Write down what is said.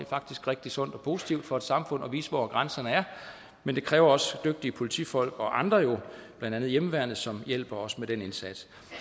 faktisk rigtig sundt og positivt for et samfund at vise hvor grænserne er men det kræver også dygtige politifolk og andre blandt andet hjemmeværnet som jo hjælper os med den indsats